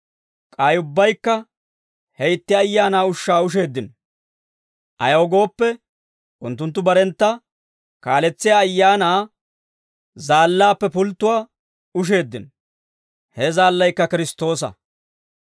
K'ay ubbaykka he itti ayaanaa ushshaa usheeddino. Ayaw gooppe, unttunttu barentta kaaletsiyaa ayaanaa zaallaappe pulttowaa usheeddino; he zaallaykka Kiristtoosa.